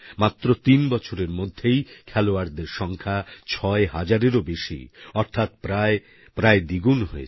মাত্র তিন বছরের মধ্যেই খেলোয়াড়দের সংখ্যা ছয় হাজারেরও বেশি অর্থাৎ প্রায়প্রায় দ্বিগুন হয়েছে